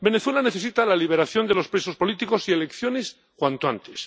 Venezuela necesita la liberación de los presos políticos y elecciones cuanto antes.